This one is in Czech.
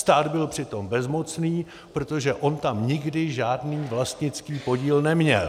Stát byl přitom bezmocný, protože on tam nikdy žádný vlastnický podíl neměl.